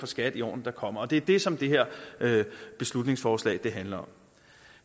skat i årene der kommer det er det som det her beslutningsforslag handler om